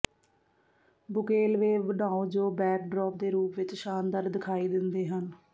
ਬੁਕੇਲਵੇਵ ਬਣਾਓ ਜੋ ਬੈਕਡ੍ਰੌਪ ਦੇ ਰੂਪ ਵਿੱਚ ਸ਼ਾਨਦਾਰ ਦਿਖਾਈ ਦਿੰਦੇ ਹਨ